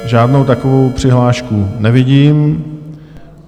Žádnou takovou přihlášku nevidím.